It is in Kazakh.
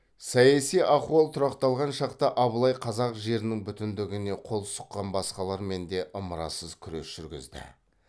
саяси ахуал тұрақталған шақта абылай қазақ жерінің бүтіндігіне қол сұққан басқалармен де ымырасыз күрес жүргізді